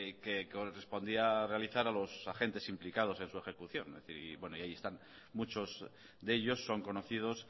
que correspondía realizar a los agentes implicado en su ejecución es decir y bueno ahí están muchos de ellos son conocidos